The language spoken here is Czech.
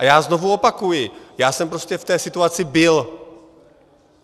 A já znovu opakuji, já jsem prostě v té situaci byl.